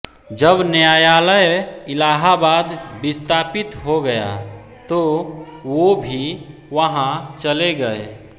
जब न्यायालय इलाहबाद विस्तापित हो गया तो वो भी वहाँ चले गये